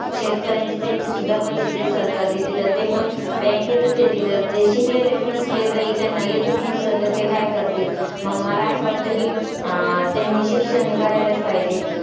शेतकऱ्यांचे त्यांचे सुद्धा पैसे जे सरकार देते तर ते पण bank तच देते. जर ते शिकलेलेच नसले, काही त्यांना येतच नसलं तर ते काय करतील. मग मला असं वाटतं की, अं त्यांनी शिक्षण हे करायलाच पाहिजे.